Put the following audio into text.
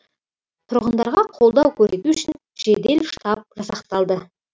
тұрғындарға қолдау көрсету үшін жедел штаб жасақталды